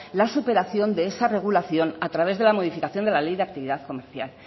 la superación de esa regulación a través de la modificación de la ley de actividad comercial